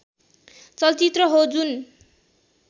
चलचित्र हो जुन